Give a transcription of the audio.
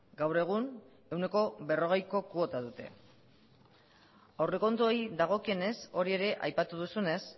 gaur egun ehuneko berrogeiko kuota dute aurrekontuei dagokionez hori ere aipatu duzunez